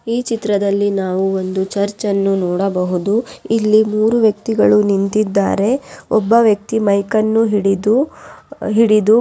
ಈ ಚಿತ್ರದಲ್ಲಿ ನಾವು ಒಂದು ಚರ್ಚ್ ಅನ್ನು ನೋಡಬಹುದು ಇಲ್ಲಿ ಮೂರೂ ವ್ಯಕ್ತಿಗಳು ನಿಂತಿದ್ದಾರೆ ಒಬ್ಬ ವ್ಯಕ್ತಿ ಮೈಕ್ ಅನ್ನು ಹಿಡಿದು ಹಿಡಿದು--